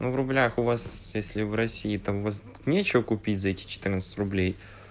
ну в рублях у вас если в россии там у вас нечего купить за эти четырнадцать рублей